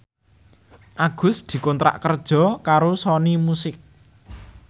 Agus dikontrak kerja karo Sony Music